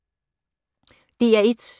DR1